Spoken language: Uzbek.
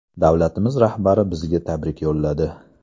Davlatimiz rahbari bizga tabrik yo‘lladi.